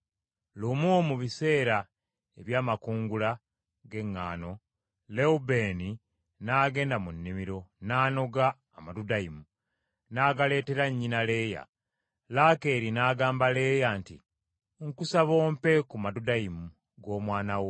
Lumu mu biseera eby’amakungula g’eŋŋaano Lewubeeni n’agenda mu nnimiro, n’anoga amadudayimu, n’agaleetera nnyina Leeya. Laakeeri n’agamba Leeya nti, “Nkusaba ompe ku madudayimu g’omwana wo.”